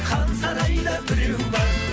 хан сарайда біреу бар